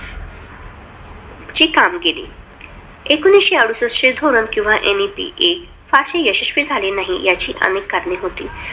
ची कामगिरी एकोणविशे अडुसष्ट चे धोरण किंवा NEP-I फारसे यशस्वी झाले नाही. याची अनेक कारणे होती.